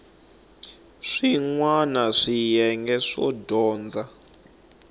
swin wana swiyenge swo dyondza